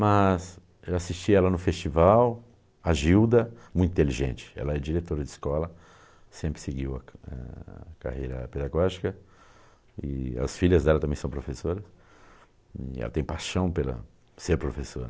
Mas, eu assisti ela no festival, a Gilda, muito inteligente, ela é diretora de escola, sempre seguiu a a carreira pedagógica, e as filhas dela também são professoras, e ela tem paixão pela ser professora.